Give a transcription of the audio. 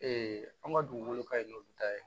an ka dugukolo ka ɲi n'olu ta ye